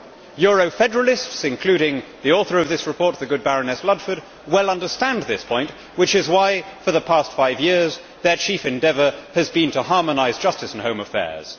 Euro federalists including the author of this report, the good Baroness Ludford well understand this point, which is why for the past five years their chief endeavour has to been harmonise justice and home affairs.